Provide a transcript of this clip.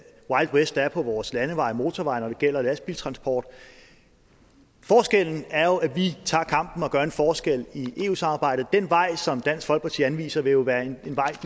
wild west der er på vores landeveje og motorveje når det gælder lastbiltransport forskellen er jo at vi tager kampen og gør en forskel i eu samarbejdet den vej som dansk folkeparti anviser vil jo være en